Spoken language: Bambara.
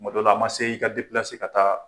Kuma dɔ la a man se i ka ka taa